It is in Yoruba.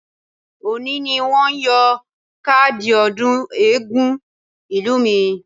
Òní ni wọn yóò kádìí ọdún eégún ìlú mi.